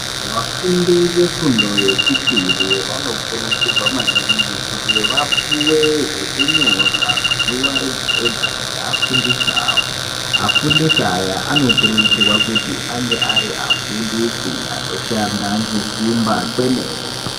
Vafundi vefundo yechipiri vanokurudzirwa maningi kuti vapuwe zvekunyora zuva rega rega ngevafundisi vavo , vafundisi ava vanokurudzirwa kuti vange vari vafundisi vanoshanda ngesimba kwemene.